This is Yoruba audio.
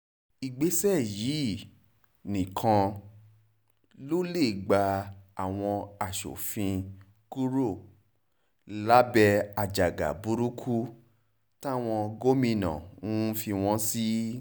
ìgbésẹ̀ yìí nìkan ló lè gba àwọn asòfin kúrò lábẹ́ àjàgà burúkú táwọn gómìnà ń fi wọ́n sí